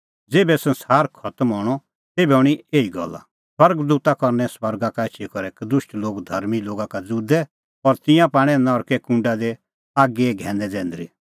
ज़ेभै संसार खतम हणअ तेभै हणीं एही गल्ला स्वर्ग दूता करनै स्वर्गा का एछी करै कदुष्ट लोग धर्मीं लोगा का ज़ुदै और तिंयां पाणै नरके कूंडा दी आगीए घैनै जैंदरी